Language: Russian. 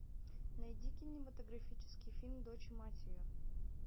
найди кинематографический фильм дочь и мать ее